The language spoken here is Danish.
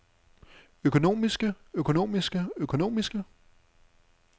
økonomiske økonomiske økonomiske